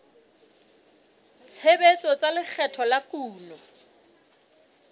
tshebetso tsa lekgetho la kuno